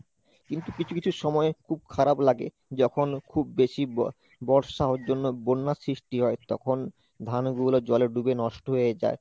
কিন্তু কিছু কিছু সময় খুব খারাপ লাগে যখন খুব বেশি বর্ষা ওর জন্য বন্যার সৃষ্টি হয়, তখন ধানগুলো জলে ডুবে নষ্ট হয়ে যায়।